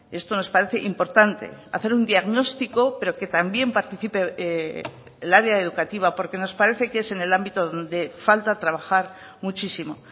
esto nos parece importante hacer un diagnóstico pero que también participe el área educativa porque nos parece que es en el ámbito donde falta trabajar muchísimo